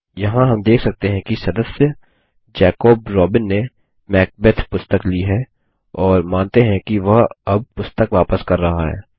यहाँ हम देख सकते हैं कि सदस्य जैकब रोबिन ने मैकबेथ पुस्तक ली है और मानते हैं कि वह अब पुस्तक वापस कर रहा है